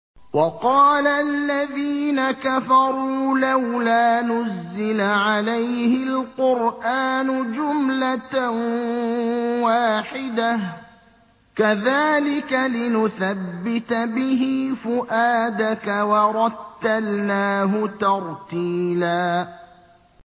وَقَالَ الَّذِينَ كَفَرُوا لَوْلَا نُزِّلَ عَلَيْهِ الْقُرْآنُ جُمْلَةً وَاحِدَةً ۚ كَذَٰلِكَ لِنُثَبِّتَ بِهِ فُؤَادَكَ ۖ وَرَتَّلْنَاهُ تَرْتِيلًا